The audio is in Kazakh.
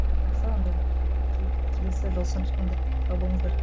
жақсы онда келесі сау болыңыздар